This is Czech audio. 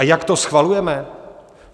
A jak to schvalujeme?